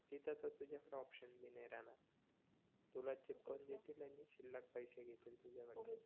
तिथ तर तुझ्याकड ऑपशन बी नाही राहणार तुला चीपकावून देतील आणि शिल्लक पैसे घेतील तुझ्याकडन